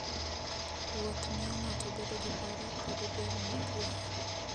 Wuoth miyo ng'ato bedo gi paro kod del mokuwe.